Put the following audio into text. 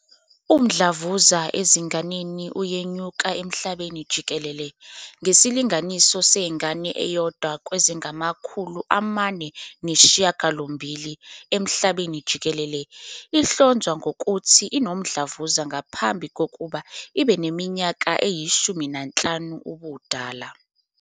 Umdlavuza ezinganeni uyenyuka emhlabeni jikelele, ngesilinganiso sengane eyodwa kwezingama-408 emhlabeni jikelele ihlonzwa ngokuthi inomdlavuza ngaphambi kokuba ibe neminyaka eyi-15 yobudala.